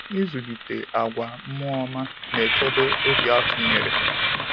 Ịzụlite àgwà mmụọ ọma na-echebe obi atụnyere.